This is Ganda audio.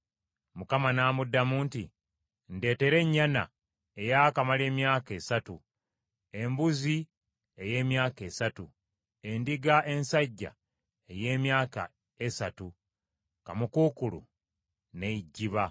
Mukama n’amuddamu nti, “Ndeetera ennyana eyaakamala emyaka esatu, embuzi ey’emyaka esatu, endiga ensajja ey’emyaka esatu, kaamukuukulu n’ejjiba.”